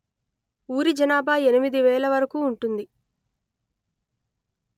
ఊరి జనాభా ఎనిమిది వేల వరకు ఉంటుంది